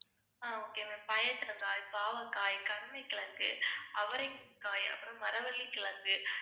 ஆஹ் okay ma'am பயற்றங்காய், பாவக்காய், கருணைக்கிழங்கு, அவரைக்காய், அப்புறம் மரவள்ளிக்கிழங்கு